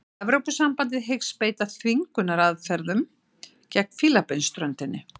Evrópusambandið hyggst beita þvingunaraðferðum gegn Fílabeinsströndinni